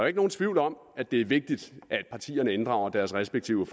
ikke nogen tvivl om at det er vigtigt at partierne inddrager deres respektive